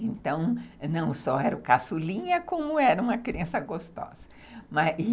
Então, não só era o caçulinha, como era uma criança gostosa, mas...